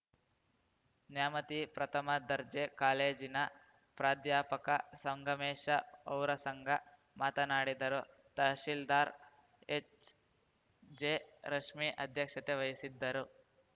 ನ್ಯಾಮತಿ ಪ್ರಥಮ ದರ್ಜೆ ಕಾಲೇಜಿನ ಪ್ರಾಧ್ಯಾಪಕ ಸಂಗಮೇಶ ಔರಸಂಗ ಮಾತನಾಡಿದರು ತಹಶಿಲ್ದಾರ್‌ ಹೆಚ್‌ಜೆರಶ್ಮಿ ಅಧ್ಯಕ್ಷತೆ ವಹಿಸಿದ್ದರು